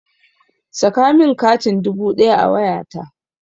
Saka min katin dubu ɗaya a wayata!